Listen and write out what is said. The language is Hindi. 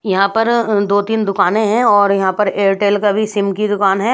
यहां पर अ दो तीन दुकानें हैं और यहां पर एयरटेल का भी सिम की दुकान है।